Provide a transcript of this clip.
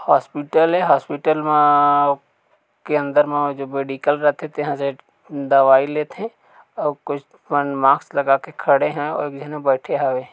Hospital ए hospital मा आ आ के अंदर जो मेडिकल रथे तिहा से दवाई लेथे अउ कुछ मन मास्क लगाके खड़े है अउ एक झने बैठे हवे।